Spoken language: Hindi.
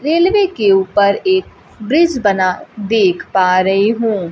रेलवे के ऊपर एक ब्रिज बना देख पा रही हूं।